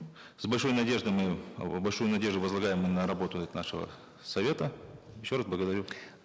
с большой надеждой мы большую надежду возлагаем мы на работу нашего совета еще раз благодарю